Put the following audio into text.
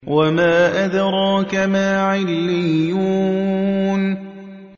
وَمَا أَدْرَاكَ مَا عِلِّيُّونَ